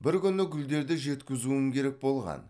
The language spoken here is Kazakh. бір күні гүлдерді жеткізуім керек болған